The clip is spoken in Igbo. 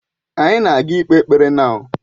Anyị na ga ikpe ekpere now.